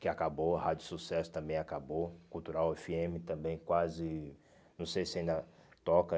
que acabou, a Rádio Sucesso também acabou, Cultural efe eme também quase... Não sei se ainda toca